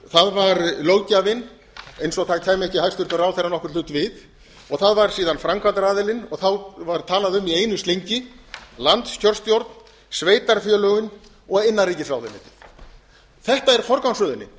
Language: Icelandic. það var löggjafinn eins og það kæmi ekki hæstvirtur ráðherra nokkurn hlut við það var síðan framkvæmdaraðilinn og þá var talað um í einu slengi landskjörstjórn sveitarfélögin og innanríkisráðuneytið þetta er forgangsröðunin